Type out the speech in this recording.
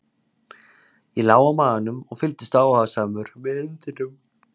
Ég lá á maganum og fylgdist áhugasamur með hundinum.